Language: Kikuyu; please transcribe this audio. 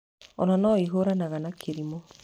Ona No ĩhũranaga na kĩrimũ.